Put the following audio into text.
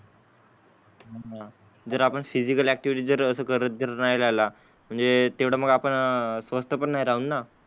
जर आपण physical activity जर असे करत नई राहील म्हणजे तेवढ मग या आपण स्वस्त पण नाही राहू ना